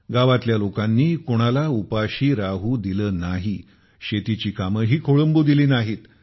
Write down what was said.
गावातल्या लोकांनी कोणाला उपाशी राहू दिले नाही शेतीची कामेही खोळंबू दिली नाहीत